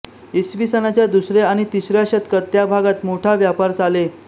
इसवी सनाच्या दुसया आणि तिसया शतकात त्या भागात मोठा व्यापार चाले